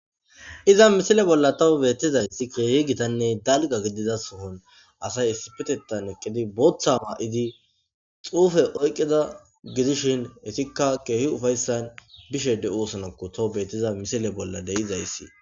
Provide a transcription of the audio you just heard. Iza misile bolla tawu betizaysi keehi gitanne dalga gidiza sohon asay issipetetan eqid, bootha mayid xuufe oykida gidishn etika keeh ufaysan bishe de'osonako tawu betiza misile bolla de'izaysi.